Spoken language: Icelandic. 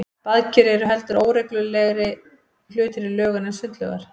Baðker eru heldur óreglulegri hlutir í lögun en sundlaugar.